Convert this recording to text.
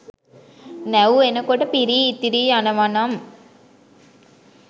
නැව් එනකොට පිරී ඉතිරී යනවනම්